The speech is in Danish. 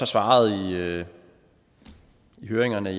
svaret ved høringerne